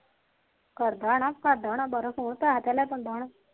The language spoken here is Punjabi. ਕਰਦਾ ਹੋਣਾ ਕਰਦਾ ਹੋਣਾ